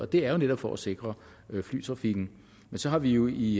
det er jo netop for at sikre flytrafikken men så har vi jo i